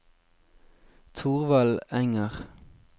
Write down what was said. Thorvald Enger